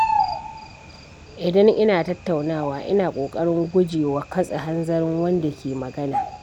Idan ina tattaunawa, ina ƙoƙarin guje wa katse hanzarin wanda ke magana.